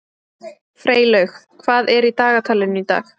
Freylaug, hvað er í dagatalinu í dag?